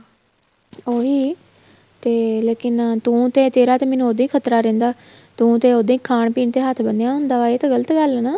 ਉਹੀ ਤੇ ਲੇਕਿਨ ਤੂੰ ਤੇ ਤੇਰਾ ਤੇ ਮੈਨੂੰ ਉਦੋ ਹੀ ਖਤਰਾ ਰਹਿੰਦਾ ਤੂੰ ਤੇ ਉਦੋ ਹੀ ਖਾਣ ਪੀਣ ਤੇ ਹੱਥ ਬੰਨਿਆ ਹੁੰਦਾ ਆ ਇਹ ਤਾਂ ਗ਼ਲਤ ਗੱਲ ਆ ਨਾ